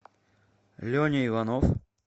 леня иванов